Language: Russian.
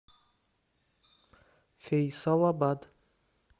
фейсалабад